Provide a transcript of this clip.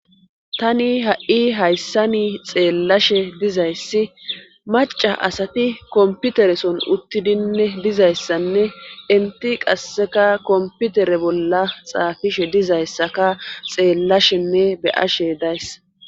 tani ha7i hayssani xeellashe dizayssi maca asati komputereson uttidinne dizayssanne enti qasseka komputere bolla xaafishe dizayssaka xeellashenne be'ashe days